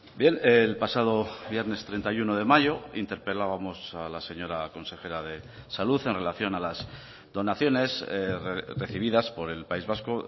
bien el pasado viernes treinta y uno de mayo interpelábamos a la señora consejera de salud en relación a las donaciones recibidas por el país vasco